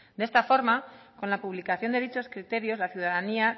de esta forma con la publicación de dichos criterios la ciudadanía